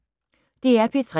DR P3